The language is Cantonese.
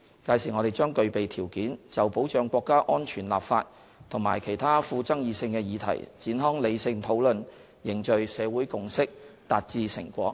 屆時，我們將具備條件，就保障國家安全立法及其他富爭議性的議題展開理性討論，凝聚社會共識，達致成果。